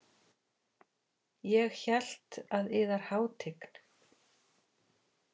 Ég hélt að yðar hátign.